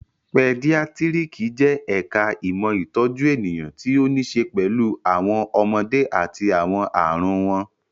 Pedíátírìkì jẹ́ ẹ̀ka ìmọ̀ ìtọ́jú ènìyàn tí ó ní ṣe pẹ̀lú àwọn ọmọdé àti àwọn ààrùn wọn